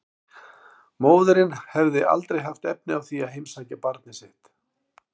Móðirin hefði aldrei haft efni á því að heimsækja barnið sitt.